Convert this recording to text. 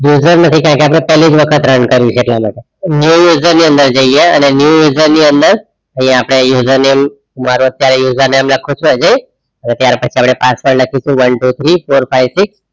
User નથી કોઈ કેમ કે આપડે પહેલીજ વખત run કરવી છે એટલા માટે હવે new user ની અંદર જઈએ અને new user ની અંદર અહિયાં આપણે user name મારુ અત્યારે user name નાખવું છે હજ્જી અને ત્યાર પછી આપણે password લખીસું one two three four five six